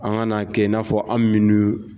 An ka na kɛ n'a fɔ an minnu